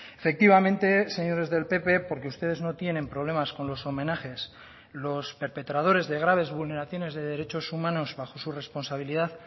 efectivamente señores del pp porque ustedes no tienen problemas con los homenajes los perpetradores de graves vulneraciones de derechos humanos bajo su responsabilidad